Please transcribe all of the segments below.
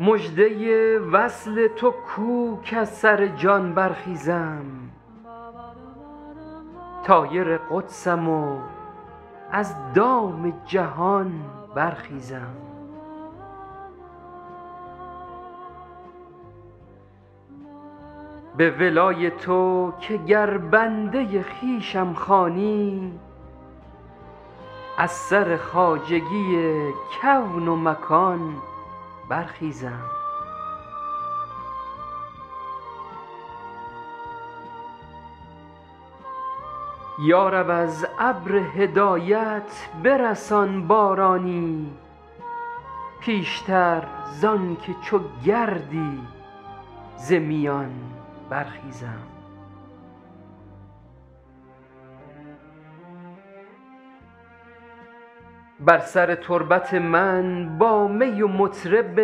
مژده وصل تو کو کز سر جان برخیزم طایر قدسم و از دام جهان برخیزم به ولای تو که گر بنده خویشم خوانی از سر خواجگی کون و مکان برخیزم یا رب از ابر هدایت برسان بارانی پیشتر زان که چو گردی ز میان برخیزم بر سر تربت من با می و مطرب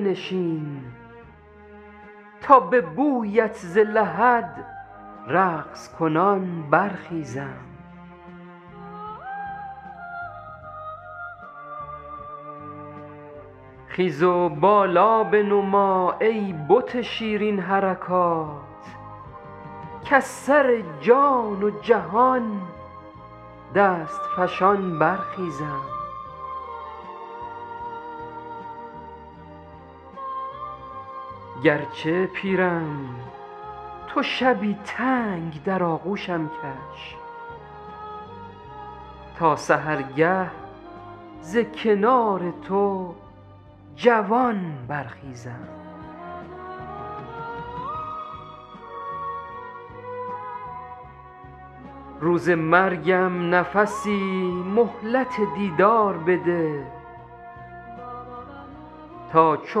بنشین تا به بویت ز لحد رقص کنان برخیزم خیز و بالا بنما ای بت شیرین حرکات کز سر جان و جهان دست فشان برخیزم گرچه پیرم تو شبی تنگ در آغوشم کش تا سحرگه ز کنار تو جوان برخیزم روز مرگم نفسی مهلت دیدار بده تا چو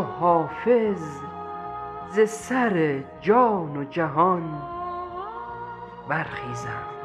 حافظ ز سر جان و جهان برخیزم